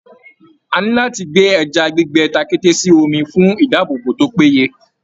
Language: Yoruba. A ní láti gbè ẹja gbígbẹ takẹ́té sí omi, fun ìdáàbòbò tó péye